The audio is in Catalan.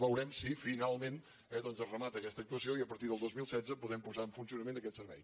veurem si finalment eh doncs es remata aquesta actuació i a partir del dos mil setze podem posar en funcionament aquest servei